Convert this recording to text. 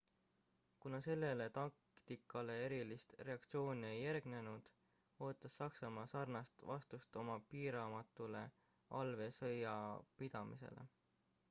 kuna sellele taktikale erilist reaktsiooni ei järgnenud ootas saksamaa sarnast vastust oma piiramatule allveesõjapidamisele